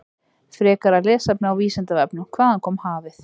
Frekara lesefni á Vísindavefnum: Hvaðan kom hafið?